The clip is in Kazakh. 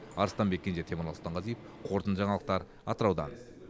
арыстанбек кенже темірлан сұлтанғазиев қорытынды жаңалықтар атыраудан